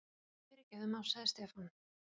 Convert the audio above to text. Fyrirgefðu másaði Stefán.